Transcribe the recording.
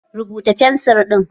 Rubuta da fencil ɗin!